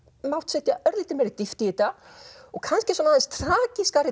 mátt setja örlítið meiri dýpt í þetta og kannski aðeins